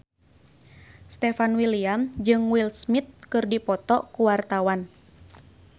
Stefan William jeung Will Smith keur dipoto ku wartawan